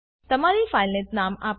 તમારી ફાઈલને નામ આપો